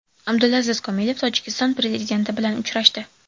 Abdulaziz Komilov Tojikiston prezidenti bilan uchrashdi.